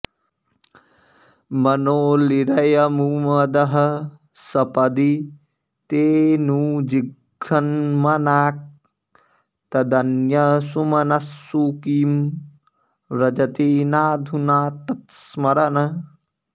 मनोलिरयमुमदः सपदि तेऽनुजिघ्रन्मनाक् तदन्यसुमनस्सु किं व्रजति नाधुना तत्स्मरन्